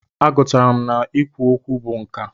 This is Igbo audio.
A gụtara m na i kwu okwu bụ nkà.